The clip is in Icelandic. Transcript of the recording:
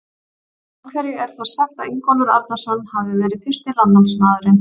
Af hverju er þá sagt að Ingólfur Arnarson hafi verið fyrsti landnámsmaðurinn?